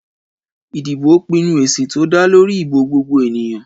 Ìdìbò pinnu èsì tó dá lórí ìbò gbogbo ènìyàn.